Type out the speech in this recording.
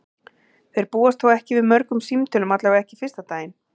Þeir búast þó ekki við mörgum símtölum, allavega ekki fyrsta daginn.